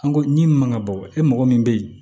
An go min man ka bɔ e mɔgɔ min be ye